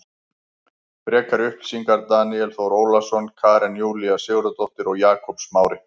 Frekari upplýsingar Daníel Þór Ólason Karen Júlía Sigurðardóttir og Jakob Smári.